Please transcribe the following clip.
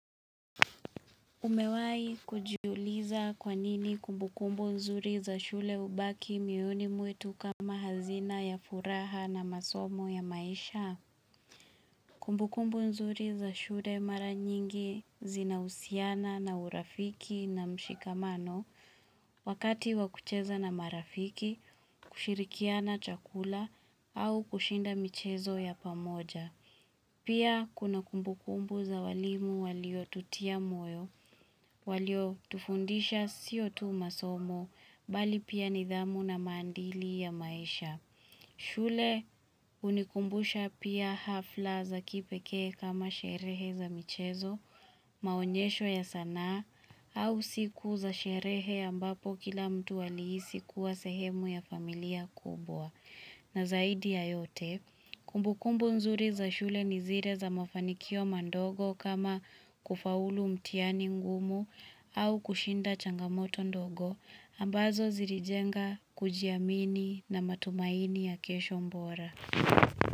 Umewai kujiuliza kwa nini kumbukumbu nzuri za shule ubaki miyoni mwetu kama hazina ya furaha na masomo ya maisha? Kumbukumbu nzuri za shule mara nyingi zinahusiana na urafiki na mshikamano Wakati wakucheza na marafiki, kushirikiana chakula au kushinda michezo ya pamoja Pia kuna kumbukumbu za walimu walio tutia moyo walio tufundisha sio tu masomo bali pia nidhamu na mandili ya maisha. Shule unikumbusha pia hafla za kipeke kama sherehe za michezo, maonyesho ya sana, au siku za sherehe ambapo kila mtu walihisi kuwa sehemu ya familia kubwa. Na zaidi ya yote, kumbukumbu nzuri za shule ni zile za mafanikio mandogo kama kufaulu mtiani ngumu au kushinda changamoto ndogo ambazo zirijenga kujiamini na matumaini ya kesho mbora.